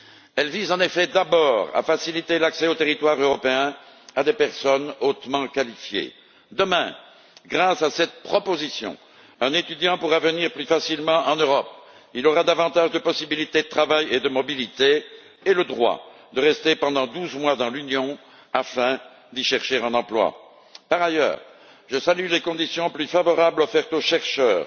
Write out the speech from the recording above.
Elle vise, en effet, d'abord à faciliter l'accès au territoire européen à des personnes hautement qualifiées. Demain, grâce à cette proposition, un étudiant pourra venir plus facilement en Europe, il aura davantage de possibilités de travail et de mobilité et le droit de rester pendant douze mois dans l'Union afin d'y chercher un emploi. Par ailleurs, je salue les conditions plus favorables offertes aux chercheurs,